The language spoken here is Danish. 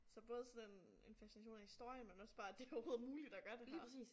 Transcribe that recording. Så både sådan en en fascination af historien men også bare at det overhovedet er muligt at gøre det her